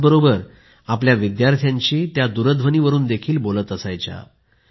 त्याचबरोबर त्या आपल्या विद्यार्थ्यांशी दूरध्वनीवरून देखील बोलत असायच्या